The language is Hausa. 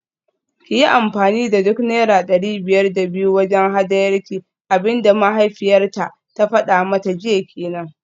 Kiyi amfani da duk naira dari biyar da biyu wajen hadayarki, abinda mahaifiyarta ta fada mata jiya kenan